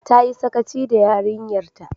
Ta yi sakaci da yarinyar ta